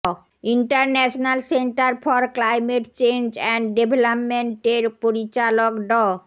international centre for climate change and ডেভেলপমেন্টের পরিচালক ড